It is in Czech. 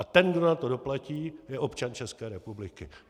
A ten, kdo na to doplatí, je občan České republiky.